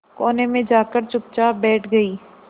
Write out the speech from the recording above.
कोने में जाकर चुपचाप बैठ गई